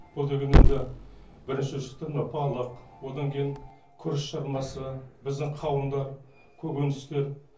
бұл деген енді бірінші шықты мына балық одан кейін күріш жармасы біздің қауындар көкөністер